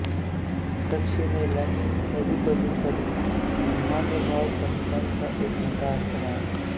दक्षिणेला नदीपलीकडे महानुभाव पंथाचा एक मोठा आश्रम आहे